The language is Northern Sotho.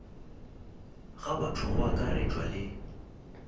ga batho go akaretšwa le